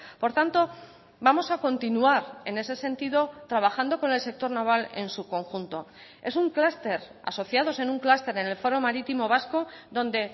por tanto vamos a continuar en ese sentido trabajando con el sector naval en su conjunto es un clúster asociados en un clúster en el foro marítimo vasco donde